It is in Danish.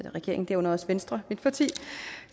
regeringen herunder også venstre som mit parti jo